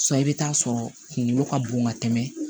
i bɛ taa sɔrɔ kunkolo ka bon ka tɛmɛ